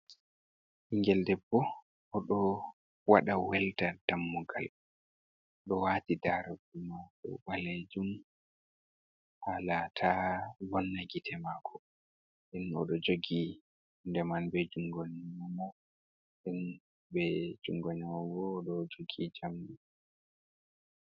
Bingel debbo oɗo waɗa welda dammugal oɗo wati daroɗe balejum haala taa vonna gite mako, den oɗo jogi hunde man be jungo nyamo en be jungo nano bo o da o jogi jamdi.